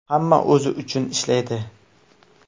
Hamma o‘zi uchun ishlaydi.